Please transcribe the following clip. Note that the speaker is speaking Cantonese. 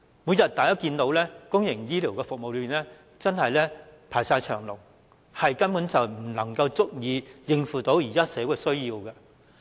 大家可見，公營醫療服務每日都是大排長龍，根本不足以應付現時的社會需要。